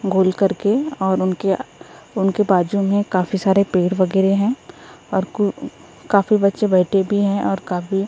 गोल करके और उनके उनके बाजू में काफी सारे पेड़ वगैरह हैं और कु काफी बच्चे बैठे भी हैं और काफी--